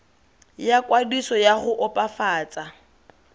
ya kwadiso ya go opafatsa